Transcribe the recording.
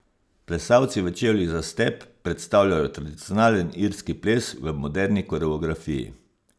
Plesalci v čevljih za step predstavljajo tradicionalen irski ples v moderni koreografiji.